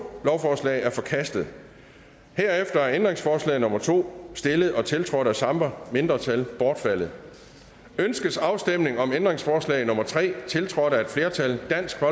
lovforslag er forkastet herefter er ændringsforslag nummer to stillet og tiltrådt af samme mindretal bortfaldet ønskes afstemning om ændringsforslag nummer tre tiltrådt af et flertal